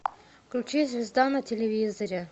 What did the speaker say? включи звезда на телевизоре